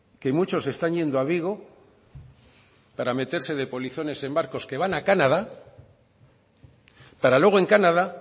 que muchos están yendo a vigo para meterse de polizones en barcos que van a canadá para luego en canadá